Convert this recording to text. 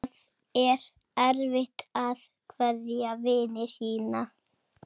Það er erfitt að kveðja vini sína.